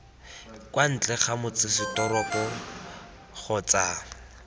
kwa ntle ga motsesetoropo kgotsa